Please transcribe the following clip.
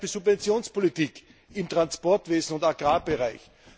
Zum Beispiel Subventionspolitik im Transportwesen und im Agrarbereich.